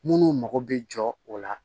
Minnu mago bɛ jɔ o la